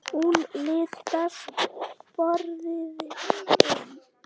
Hún litast forviða um.